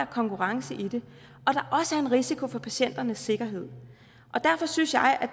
konkurrence i det og en risiko for patienternes sikkerhed derfor synes jeg